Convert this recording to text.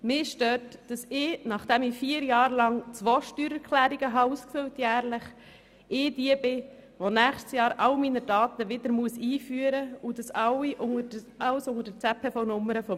Mich stört, dass ich diejenige bin, die nächstes Jahr alle meine Daten wieder einfüllen muss und zwar unter der ZPVNummer meines Mannes, nachdem ich während vier Jahren jährlich zwei Steuererklärungen ausgefüllt habe.